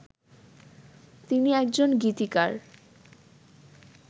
তিনি একজন গীতিকার